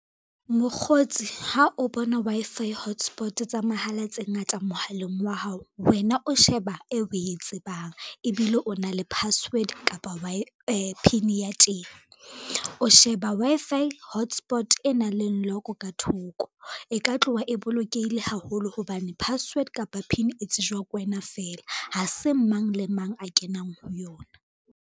Mokgotsi ha o bona Wi-Fi hotspot tsa mahala tse ngata mohaleng wa hao, wena o sheba e o we tsebang ebile o na le password kapa PIN ya teng. O sheba Wi-Fi hotspot e nang le lock ka thoko, e ka tloha e bolokehile haholo hobane password kapa PIN e tsejwa ke wena fela, ha se mang le mang a kenang ho yona.